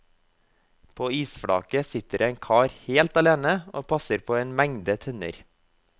På isflaket sitter det en kar helt alene og passer på en mengde tønner.